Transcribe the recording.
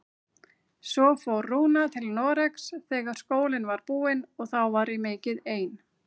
Svo fór Rúna til Noregs þegar skólinn var búinn og þá var ég mikið ein.